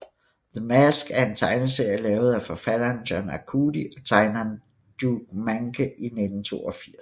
The Mask er en tegneserie lavet af forfatteren John Arcudi og tegneren Dough Mahnke i 1982